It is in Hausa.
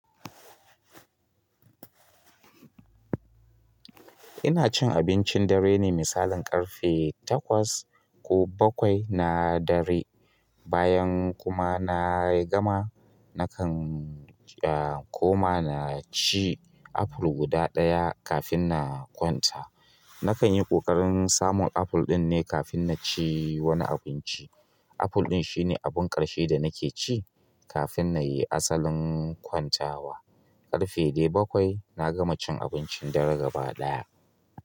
Ina cin abincin dare ne misalin ƙarfe takwas ko bakwai na dare, bayan kuma na yi gama nakan, a, koma na ci apple guda ɗaya kafin na kwanta. Nakan yi ƙoƙarin samun apple din ne kafin na ci wani abinci. Apple din shine abin ƙarshe da nake ci kafin na yi asalin kwantawa. Ƙarfe dai bakwai na gama cin abincin dare gaba ɗaya.